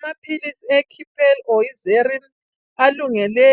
Amaphilisi ekipen, ixerin alungele